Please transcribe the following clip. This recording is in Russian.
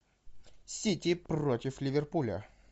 сити против ливерпуля